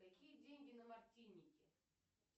какие деньги на мартинике